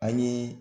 An ye